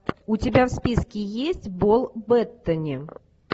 у тебя в списке есть пол беттани